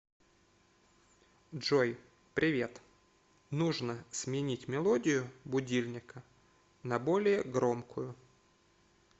джой привет нужно сменить мелодию будильника на более громкую